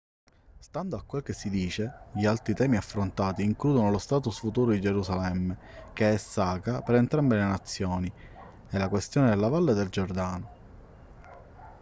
stando a quel che si dice gli altri temi affrontati includono lo status futuro di gerusalemme che è sacra per entrambe le nazioni e la questione della valle del giordano